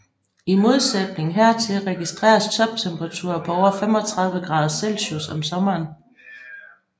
I modsætning hertil registreres toptemperaturer på over 35 grader celsius om sommeren